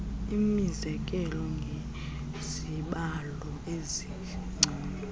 inikezele ngezibalo ezingcono